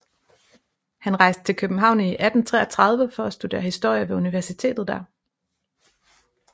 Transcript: Han rejste til København i 1833 for at studere historie ved universitetet der